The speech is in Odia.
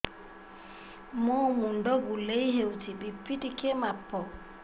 ମୋ ମୁଣ୍ଡ ବୁଲେଇ ହଉଚି ବି.ପି ଟିକେ ମାପ